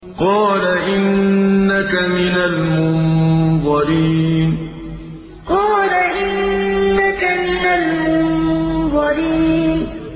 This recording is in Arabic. قَالَ إِنَّكَ مِنَ الْمُنظَرِينَ قَالَ إِنَّكَ مِنَ الْمُنظَرِينَ